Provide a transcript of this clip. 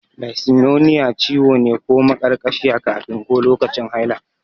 Dysmenorrhea ciwo ne ko maƙarƙashiya kafin ko lokacin haila.